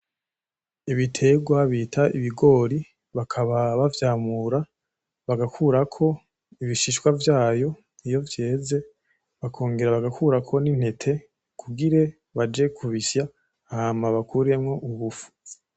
Ibiterwa bita ibigori bakaba bavyamura bagakurako ibishishwa vyavyo iyo vyeze. Bakongera bagakurako n'intete kugira ngo baje kubisya hama bakuremwo ubufu.